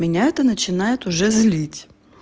меня это начинает уже злить